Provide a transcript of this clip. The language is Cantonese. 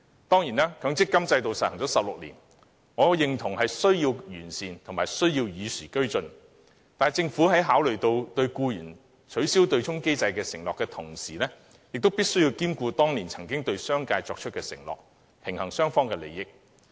當然，強積金制度實施了16年，我認同有需要予以完善、與時俱進，但政府在考慮履行對僱員作出取消對沖機制承諾的同時，亦須兼顧當年對商界作出的承諾，以平衡雙方利益。